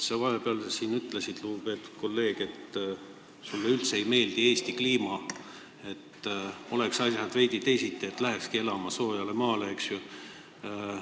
Sa vahepeal siin ütlesid, lugupeetud kolleeg, et sulle üldse ei meeldi Eesti kliima ja kui asjad oleksid veidi teisiti, siis sa läheksidki elama soojale maale.